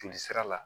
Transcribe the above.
Joli sira la